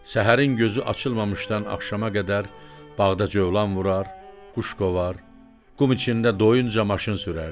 Səhərin gözü açılmamışdan axşama qədər bağda cövlan vurar, quş qovar, qum içində doyuncaya maşın sürərdi.